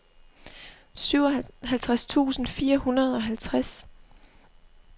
syvoghalvfjerds tusind fire hundrede og halvtreds